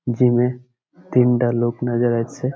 জিমে তিনটা লোক নজর আছে।